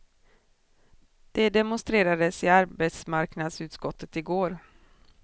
Det demonstrerades i arbetsmarknadsutskottet i går.